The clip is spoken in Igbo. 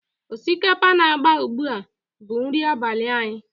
Osikapa na-agba ugbu a bụ nri abalị anyị.